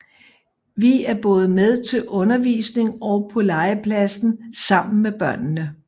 Vi er både med til undervisning og på legepladsen sammen med børnene